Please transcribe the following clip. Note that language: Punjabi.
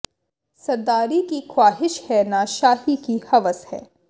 ਸਰਦਾਰੀ ਕੀ ਖ਼ਵਾਹਿਸ਼ ਹੈ ਨ ਸ਼ਾਹੀ ਕੀ ਹਵਸ ਹੈ